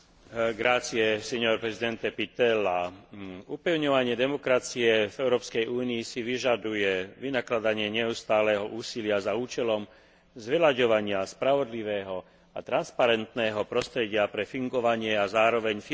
Upevňovanie demokracie v Európskej únii si vyžaduje vynakladanie neustáleho úsilia za účelom zveľaďovania spravodlivého a transparentného prostredia pre fungovanie a zároveň financovanie politických strán na európskej úrovni.